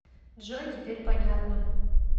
джой теперь понятно